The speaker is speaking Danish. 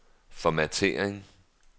formattering